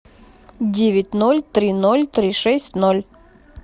девять ноль три ноль три шесть ноль